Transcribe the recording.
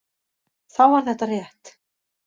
Þá var þetta rétt.